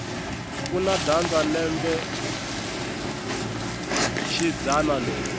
kuna dyandza lembe xidzana leri